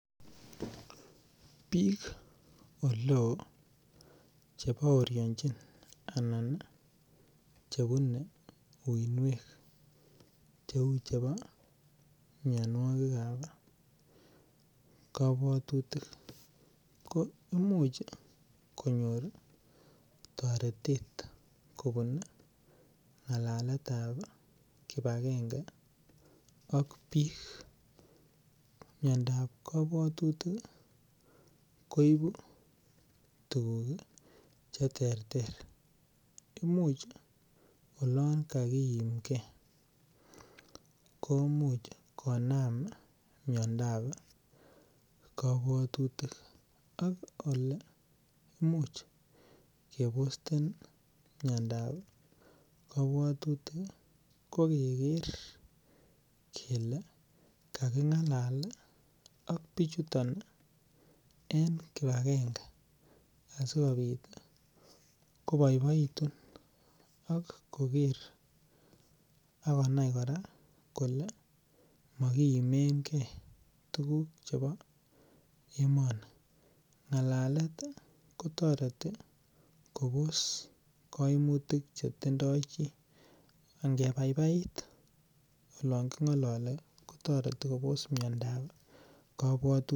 biik oleoo chebooryonchin anaan chebune uinweek cheeu chebo myonwogiik ab kabwotutik, ko imuch konyoor toretet kobuun alaan netaa kibagenge ak bii, myondo ab kobwotutik iih koibu tuguuk cheterter, imuuch oloon kagiimge koimuch konaam myondo ab kobwotutik, ak ole imuuch kebosten myondo ab kobwotutik ko kegeer kele kagingalal ak bichuton en kibagenge asigobiit koboiboitun ak kogeer ak konai koraa kole mogiimenge tuguk chebo emoni ngalalet iih kotoreti koboos koimutik chetindo chi, angebaibait olon kingololi kotoreti koboos myondo ab kobwotutik